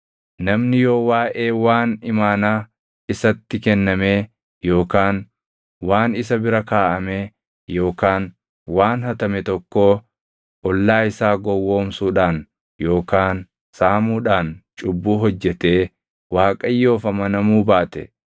“Namni yoo waaʼee waan imaanaa isatti kennamee yookaan waan isa bira kaaʼamee yookaan waan hatame tokkoo ollaa isaa gowwoomsuudhaan yookaan saamuudhaan cubbuu hojjetee Waaqayyoof amanamuu baate,